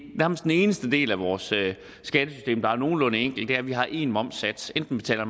eneste del af vores skattesystem der er nogenlunde enkel nemlig at vi har en momssats enten betaler